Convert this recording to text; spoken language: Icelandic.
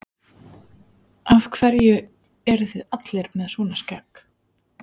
Af hverju eruð þið allir með svona skegg?